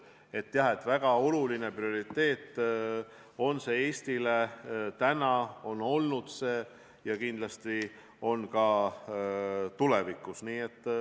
Jah, see on Eesti väga oluline prioriteet, see on seda olnud ja kindlasti on ka tulevikus.